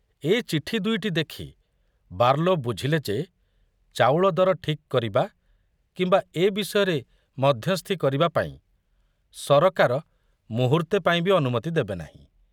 ଏ ଚିଠି ଦୁଇଟି ଦେଖି ବାର୍ଲୋ ବୁଝିଲେ ଯେ ଚାଉଳ ଦର ଠିକ୍ କରିବା କିମ୍ବା ଏ ବିଷୟରେ ମଧ୍ୟସ୍ଥି କରିବାପାଇଁ ସରକାର ମୁହୂର୍ତ୍ତେ ପାଇଁ ବି ଅନୁମତି ଦେବେନାହିଁ।